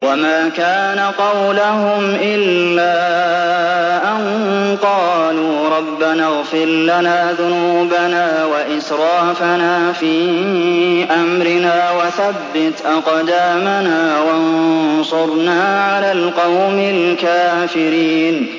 وَمَا كَانَ قَوْلَهُمْ إِلَّا أَن قَالُوا رَبَّنَا اغْفِرْ لَنَا ذُنُوبَنَا وَإِسْرَافَنَا فِي أَمْرِنَا وَثَبِّتْ أَقْدَامَنَا وَانصُرْنَا عَلَى الْقَوْمِ الْكَافِرِينَ